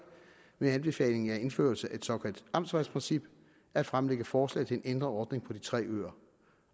med anbefaling af at indføre et såkaldt amtsvejprincip at fremsætte forslag til en ændret ordning for de tre øer